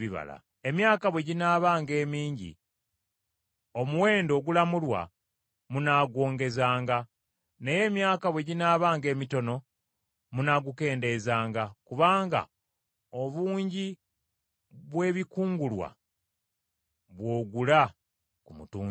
Emyaka bwe ginaabanga emingi, omuwendo ogulamulwa munaagwongezanga, naye emyaka bwe ginaabanga emitono munaagukendeezanga, kubanga obungi bw’ebikungulwa, bw’ogula ku mutunzi.